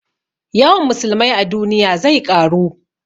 Yawan musulmai a duniya zai ƙaru